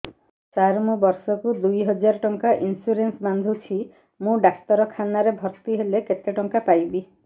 ସାର ମୁ ବର୍ଷ କୁ ଦୁଇ ହଜାର ଟଙ୍କା ଇନ୍ସୁରେନ୍ସ ବାନ୍ଧୁଛି ମୁ ଡାକ୍ତରଖାନା ରେ ଭର୍ତ୍ତିହେଲେ କେତେଟଙ୍କା ପାଇବି